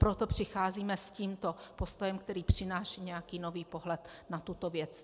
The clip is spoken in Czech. Proto přicházíme s tímto postojem, který přináší nějaký nový pohled na tuto věc.